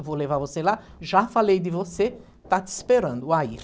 Eu vou levar você lá, já falei de você, está te esperando, o Air.